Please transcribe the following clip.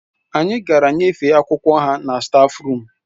Anyị gara nyefee akwụkwọ ha na stáfruum